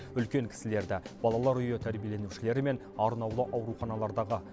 үлкен кісілерді балалар үйі тәрбиеленушілері мен арнаулы ауруханалардағы